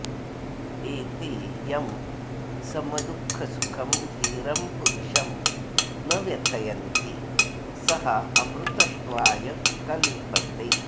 एते यं समदुःखसुखं धीरं पुरुषं न व्यथयन्ति सः अमृतत्वाय कल्पते